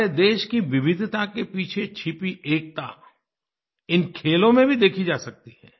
हमारे देश कीविविधताके पीछे छिपी एकता इन खेलों में भी देखी जा सकती है